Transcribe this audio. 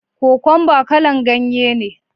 Kokwamba kala'n ganye ne.